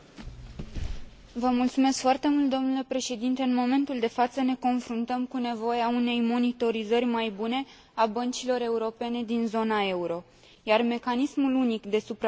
În momentul de față, ne confruntăm cu nevoia unei monitorizări mai bune a băncilor europene din zona euro, iar mecanismul unic de supraveghere ar putea contribui la realizarea sa.